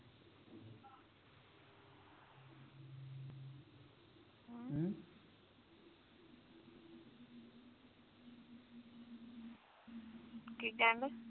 ਕੀ ਕਹਿਣ ਦਿਆ